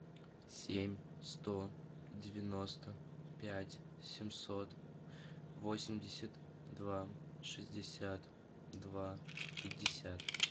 семь сто девяносто пять семьсот восемьдесят два шестьдесят два пятьдесят